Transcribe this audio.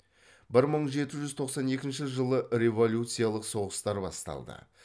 бір мың жеті жүз тоқсан екінші жылы революциялық соғыстар басталды